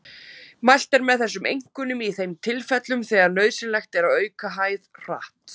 Mælt er með þessu einkum í þeim tilfellum þegar nauðsynlegt er að auka hæð hratt.